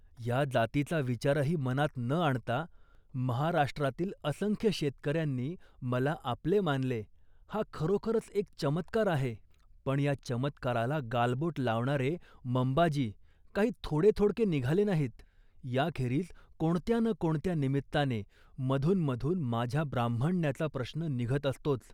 या जातीचा विचारही मनात न आणता, महाराष्ट्रातील असंख्य शेतकऱ्यांनी मला आपले मानले हा खरोखरच एक चमत्कार आहे, पण या चमत्काराला गालबोट लावणारे मंबाजी काही थोडे थोडके निघाले नाहीत. या खेरीज कोणत्या ना कोणत्या निमित्ताने मधूनमधून माझ्या ब्राह्मण्याचा प्रश्न निघत असतोच